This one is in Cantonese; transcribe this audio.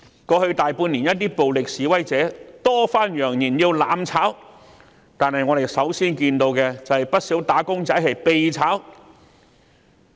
過去大半年，一些暴力示威者多番揚言要"攬炒"，但我們首先看到的是不少"打工仔"被"炒"。